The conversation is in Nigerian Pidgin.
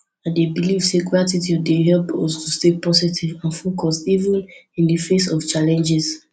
i dey believe say gratitude dey help us to stay positive and focused even in di face of challenges